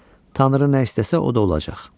Tanrı nə istəsə, o da olacaq.